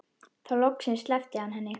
Þá loksins sleppti hann henni.